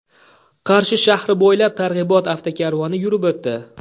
Qarshi shahri bo‘ylab targ‘ibot avtokarvoni yurib o‘tdi .